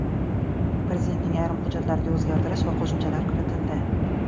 Prezidentning ayrim hujjatlariga o‘zgartirish va qo‘shimchalar kiritildi.